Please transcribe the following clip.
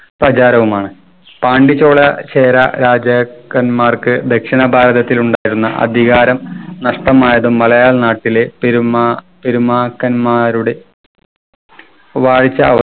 പ്രചാരവുമാണ്. പാണ്ടിച്ചോല ചേര രാജാക്കന്മാർക്ക് ദക്ഷിണ ഭാരതത്തിൽ ഉണ്ടായിരുന്ന അധികാരം നഷ്ടമായത് മലയാളം നാട്ടിലെ പെരുമ പെരുമാക്കന്മാരുടെ വാഴ്ച്ച